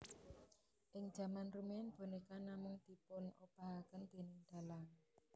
Ing jaman rumiyin bonéka namung dipunobahaken déning dalang